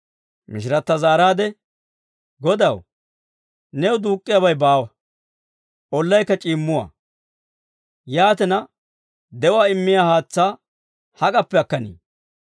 Mishiratta zaaraade, «Godaw, new duuk'k'iyaabay baawa; ollaykka c'iimmuwaa. Yaatina, de'uwaa immiyaa haatsaa hak'appe akkanii?